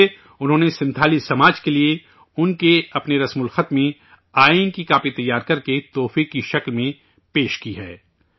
اس لئے ، انہوں نے سنتھالی سماج کے لئے ان کے اپنی رسم الخط میں آئین کی کاپی تیار کرکے تحفے سوگات کے طور پر دی ہے